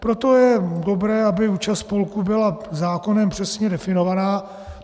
Proto je dobré, aby účast spolků byla zákonem přesně definována.